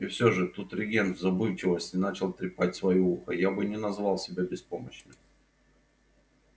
и всё же тут регент в забывчивости начал трепать своё ухо я бы не назвал себя беспомощным